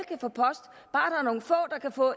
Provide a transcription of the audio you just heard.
kan få